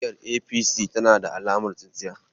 Jam'iyyar APC tana da alamar tsintsiya.